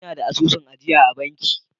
Ina da asusun ajiya a banki.